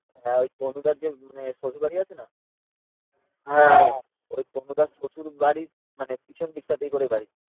হ্যাঁ ওই তনু দার যে শ্বশুরবাড়ি আছে না ওই তনু দার শ্বশুরবাড়িরর মানে পেছন দিক টা তেই করে বাড়ি